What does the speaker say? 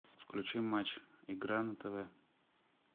включи матч игра на тв